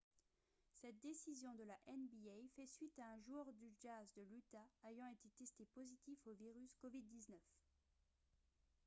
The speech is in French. cette décision de la nba fait suite à un joueur du jazz de l'utah ayant été testé positif au virus covid-19